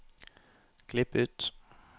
Klipp ut